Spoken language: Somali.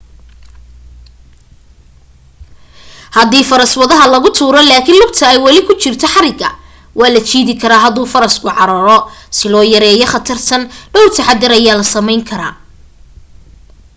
hadii faras wadaha laga tuuro laakin lugta ay wali ugu jirto xariga waa la jiidi karaa haduu faraska cararo si loo yareeyo khatartan dhawr taxaddar ayaa la samayn karaa